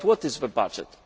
But what is the budget?